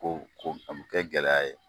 Ko ko fɛn min te gɛlɛya ye